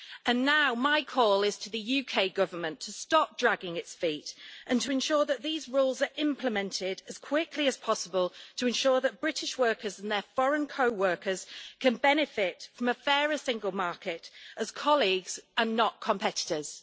And now my call is to the UK Government to stop dragging its feet and to ensure that these rules are implemented as quickly as possible, to ensure that British workers and their foreign co workers can benefit from a fairer single market as colleagues and not as competitors.